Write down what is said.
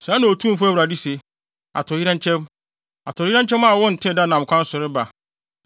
“Sɛɛ na Otumfo Awurade se: “ ‘Atoyerɛnkyɛm! Atoyerɛnkyɛm a wontee da nam kwan so reba.